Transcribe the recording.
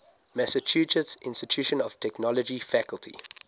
massachusetts institute of technology faculty